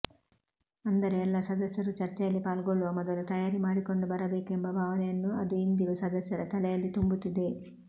ಅಂದರೆ ಎಲ್ಲ ಸದಸ್ಯರೂ ಚರ್ಚೆಯಲ್ಲಿ ಪಾಲ್ಗೊಳ್ಳುವ ಮೊದಲು ತಯಾರಿ ಮಾಡಿಕೊಂಡು ಬರಬೇಕೆಂಬ ಭಾವನೆಯನ್ನು ಅದು ಇಂದಿಗೂ ಸದಸ್ಯರ ತಲೆಯಲ್ಲಿ ತುಂಬುತ್ತಿದೆ